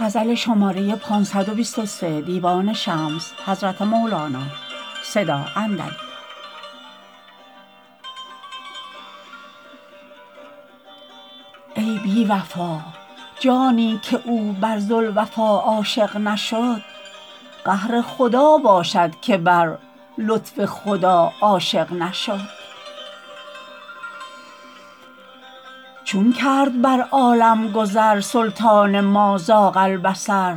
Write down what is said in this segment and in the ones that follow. ای بی وفا جانی که او بر ذوالوفا عاشق نشد قهر خدا باشد که بر لطف خدا عاشق نشد چون کرد بر عالم گذر سلطان ما زاغ البصر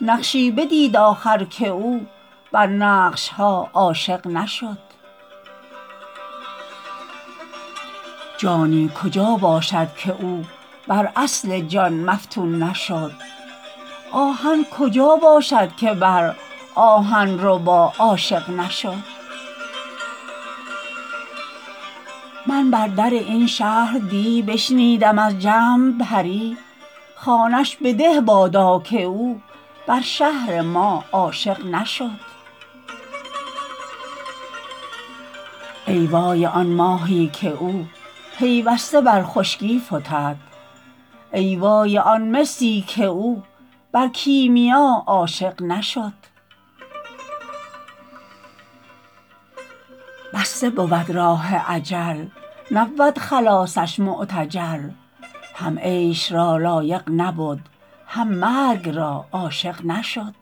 نقشی بدید آخر که او بر نقش ها عاشق نشد جانی کجا باشد که او بر اصل جان مفتون نشد آهن کجا باشد که بر آهن ربا عاشق نشد من بر در این شهر دی بشنیدم از جمع پری خانه ش بده بادا که او بر شهر ما عاشق نشد ای وای آن ماهی که او پیوسته بر خشکی فتد ای وای آن مسی که او بر کیمیا عاشق نشد بسته بود راه اجل نبود خلاصش معتجل هم عیش را لایق نبد هم مرگ را عاشق نشد